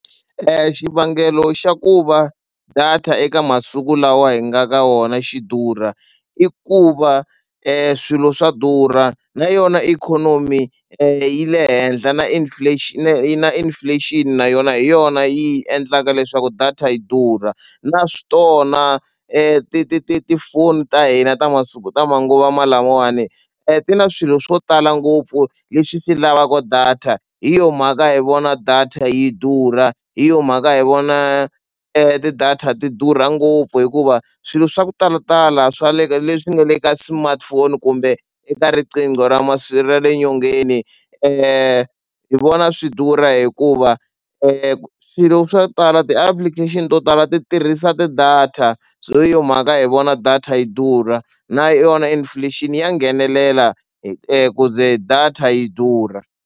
Xivangelo xa ku va data eka masiku lawa hi nga ka wona xi durha i ku va swilo swa durha na yona ikhonomi yi le henhla na na inflation na yona hi yona yi endlaka leswaku data yi durha naswona ti ti ti ti tifoni ta hina ta masiku ta manguva lamawani ti na swilo swo tala ngopfu leswi swi lavaka data hi yona mhaka hi vona data yi durha hi yona mhaka hi vona ti-data ti durha ngopfu hikuva swilo swa ku talatala swa le ka leswi nga le ka smartphone kumbe eka riqingho ra ra le nyongeni hi vona swi durha hikuva swilo swo tala ti-application to tala ti tirhisa ti-data so hi yona mhaka hi vona data yi durha na yona inflation ya nghenelela ku ze data yi durha.